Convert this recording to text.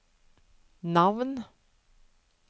navn